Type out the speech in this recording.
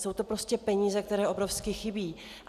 Jsou to prostě peníze, které obrovsky chybí.